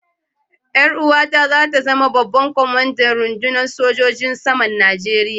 Yar uwata za ta zama babban kwamandan rundunar sojojin saman Najeriya.